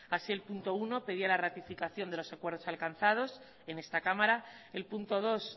así el punto uno pedía la ratificación de los acuerdos alcanzados en esta cámara el punto dos